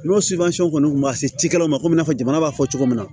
N'o kɔni tun ma se cikɛlaw ma ko i n'a fɔ jamana b'a fɔ cogo min na